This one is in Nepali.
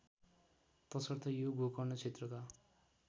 तसर्थ यो गोकर्ण क्षेत्रका